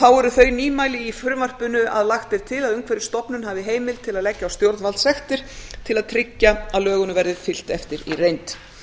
þá eru þau nýmæli í frumvarpinu að lagt er til að umhverfisstofnun hafi heimild til að leggja á stjórnvaldssektir til að trygga að lögunum verði fylgt eftir í reynd